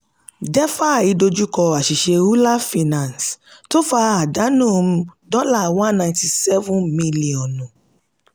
defi dojú kọ àṣìṣe euler finance tó fa àdánù dọ́là one ninety seven mílíọ̀nù.